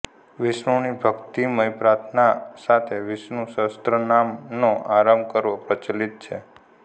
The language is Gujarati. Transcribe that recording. વિષ્ણુની ભક્ર્તિમય પ્રાર્થના સાથે વિષ્ણુ સહસ્રનામ નો આરંભ કરવો પ્રચલિત છે